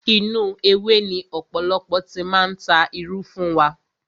Inú ewé ni ọ̀pọ̀lọpọ̀ ti máa ń ta irú fún wa.